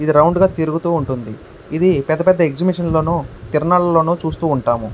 ఇది రౌండ్ గా తిరుగుతుంది. ఇది ఎక్సిబిషన్ లోను తిరునాళ్లలో చూస్తూ ఉంటాము.